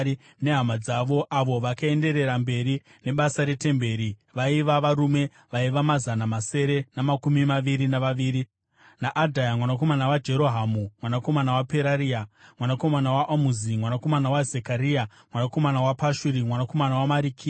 nehama dzavo, avo vakaenderera mberi nebasa retemberi, vaiva varume vana mazana masere namakumi maviri navaviri; naAdhaya mwanakomana waJerohamu, mwanakomana waPeraria, mwanakomana waAmuzi, mwanakomana waZekaria, mwanakomana waPashuri, mwanakomana waMarikiya,